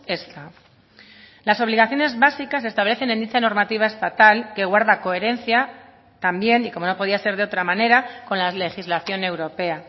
ezta las obligaciones básicas establecen en dicha normativa estatal que guarda coherencia también y como no podía ser de otra manera con la legislación europea